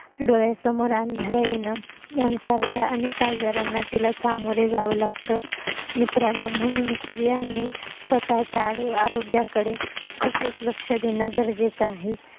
डोळ्यासमोर अंधाऱ्या येण यांसारख्या अनेक आजारांना तिला सामोरं जाव लागत मित्रांनो म्हणून स्त्रियांना स्वतः च्या आरोग्याकडे खूपच लक्ष देणं गरजेचं आहे